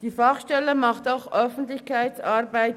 Die Fachstelle leistet auch wichtige Öffentlichkeitsarbeit.